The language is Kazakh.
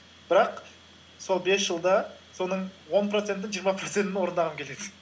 бірақ сол бес жылда соның он процентін жиырма процентін орындағым келеді